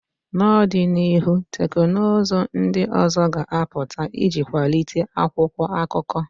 N'ọdịnihu, teknụzụ ndị ọzọ ga-apụta iji kwalite akwụkwọ akụkọ